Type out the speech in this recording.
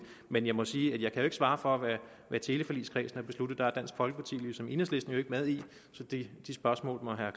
men jeg må sige at jeg ikke kan svare for hvad teleforligskredsen har besluttet for den er dansk folkeparti ligesom enhedslisten ikke med i så de spørgsmål må herre